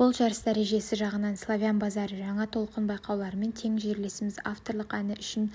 бұл жарыс дәрежесі жағынан славян базары новая волна байқауларымен тең жерлесіміз авторлық әні үшін